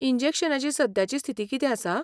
इंजेक्शनांची सद्याची स्थिती कितें आसा?